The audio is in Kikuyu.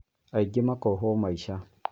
Angĩ makohwo maica